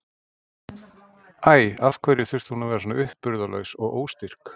Æ, af hverju þurfti hún að vera svona uppburðarlaus og óstyrk?